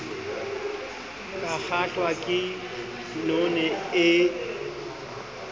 ka kgahlwa ke none e